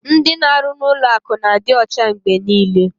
Ndị na-arụ n'ụlọ akụ na-adị ọcha mgbe niile.